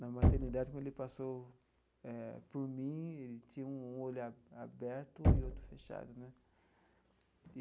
Na maternidade, quando ele passou eh por mim, ele tinha um olho a aberto e outro fechado, né?